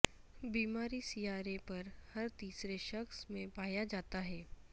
بیماری سیارے پر ہر تیسرے شخص میں پایا جاتا ہے